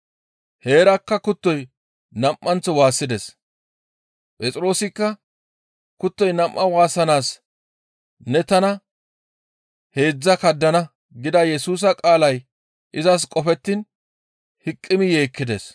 Heerakka kuttoy nam7anththo waassides. Phexroosikka, «Kuttoy nam7aa waassanaas ne tana heedzdzaa kaddana» gida Yesusa qaalay izas qofettiin hiqimi yeekkides.